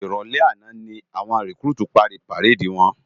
Iròlè àná lá wòn rikúrútú pári párédi wòn